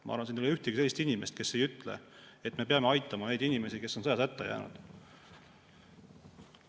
Ma arvan, et siin ei ole ühtegi sellist inimest, kes ei ütle, et me peame aitama neid inimesi, kes on sõjas hätta jäänud.